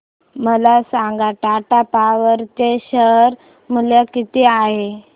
मला सांगा टाटा पॉवर चे शेअर मूल्य किती आहे